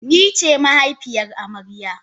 Nice mahaifiyar amarya.